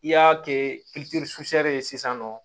I y'a kɛ ye sisan nɔ